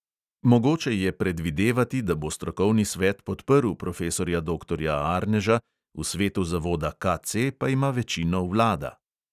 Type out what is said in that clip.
Mogoče je predvidevati, da bo strokovni svet podprl profesorja doktorja arneža, v svetu zavoda KC pa ima večino vlada.